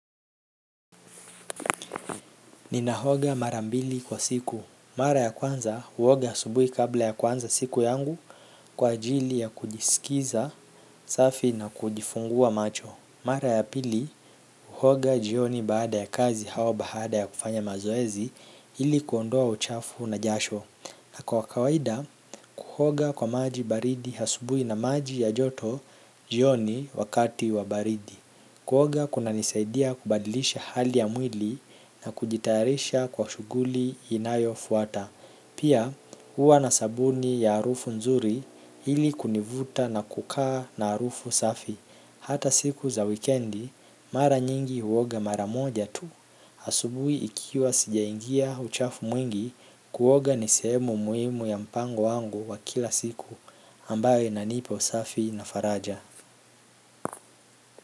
Ninaoga marambili kwa siku. Mara ya kwanza, huoga asubuhi kabla ya kuanza siku yangu kwa ajili ya kujiskiza safi na kujifungua macho. Mara ya pili, huoga jioni baada ya kazi au baada ya kufanya mazoezi ili kuondoa uchafu na jasho. Kwa kawaida kuoga kwa maji baridi asubuhi na maji ya joto jioni wakati wa baridi kuoga kunanisaidia kubadilisha hali ya mwili na kujitayarisha kwa shughuli inayofuata. Pia huwa na sabuni ya harufu nzuri ili kunivuta na kukaa na harufu safi. Hata siku za wikendi, mara nyingi huoga mara moja tu. Asubuhi ikiwa sijaingia uchafu mwingi kuoga ni sehemu muhimu ya mpango wangu wa kila siku ambayo inanipa usafi na faraja.